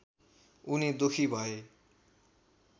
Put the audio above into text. उनी दुःखी भए